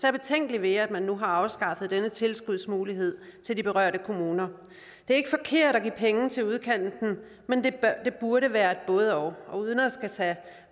er betænkelig ved at man nu har afskaffet denne tilskudsmulighed til de berørte kommuner det er ikke forkert at give penge til udkanten men det burde være et både og og uden at skulle tage